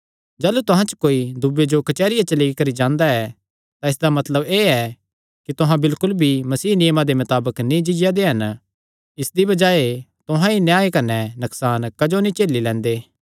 जाह़लू तुहां च कोई दूये जो कचेहरिया च लेई करी जांदा ऐ तां इसदा मतलब एह़ ऐ कि तुहां बिलकुल भी मसीह नियमां दे मताबक नीं जीआ दे हन इसदी बजाये तुहां ई अन्याय कने नकसान क्जो नीं झेली लैंदे